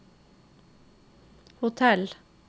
hotell